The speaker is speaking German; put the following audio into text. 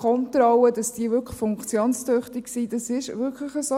Es ist relativ aufwendig zu kontrollieren, ob diese funktionstüchtig sind, das ist so.